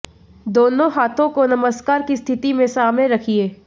दोनों हाथों को नमस्कार की स्थिति मे सामने रखिए